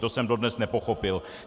To jsem dodnes nepochopil.